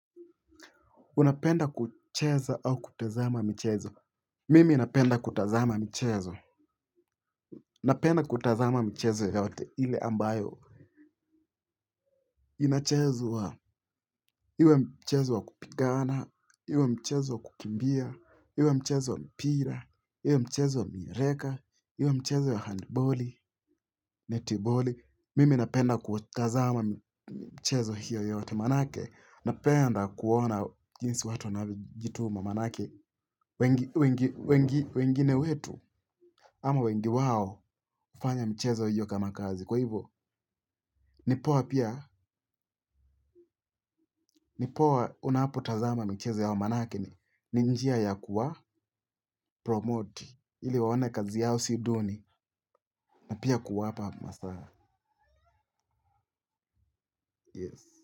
Unapenda kucheza au kutazama michezo. Mimi napenda kutazama michezo. Napenda kutazama michezo yoyote ile ambayo. Inachezwa. Iwe mchezo wa kupigana. Iwe mchezo wa kukimbia. Iwe mchezo wa mpira. Iwe mchezo wa miereka. Iwe mchezo ya handballi, netballi. Mimi napenda kutazama mchezo hiyo yote maanake. Na penda kuona jinsi watu navyojituma maanake wengi wengine wetu ama wengi wao hufanya michezo hiyo kama kazi kwa hivyo nipoa pia nipoa unapotazama michezo yao maanake ninjia ya kuwa promote ili waone kazi yao siduni na pia kuwa pa masaa yes.